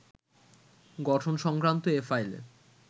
গঠন সংক্রান্ত এ ফাইলে